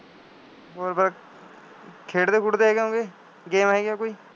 ਹੋਰ ਫੇਰ ਖੇਡਦੇ ਖੂਡਦੇ ਹੈਗੇ ਹੋਵੋਗੇ, game ਹੈਗੀ ਆ ਕੋਈ